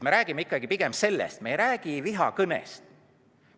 Me räägime ikkagi pigem sellest, me ei räägi vihakõnest.